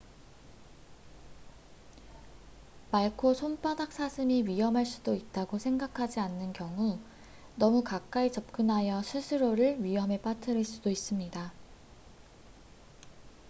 말코손바닥사슴이 위험할 수도 있다고 생각하지 않는 경우 너무 가까이 접근하여 스스로를 위험에 빠뜨릴 수도 있습니다